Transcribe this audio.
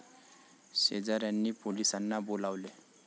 शेजाऱ्यांनी पोलिसांना बोलावले.